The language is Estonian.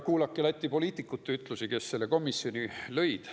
Kuulake Läti poliitikuid, kes selle komisjoni lõid.